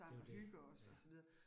Det jo det, ja